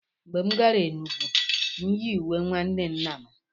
Mgbe m gara Enugwu, m yi uwe nwanne nna m.